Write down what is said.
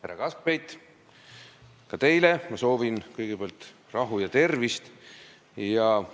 Härra Kaskpeit, ka teile soovin ma kõigepealt rahu ja tervist!